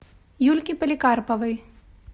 юльке поликарповой